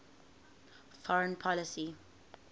foreign policy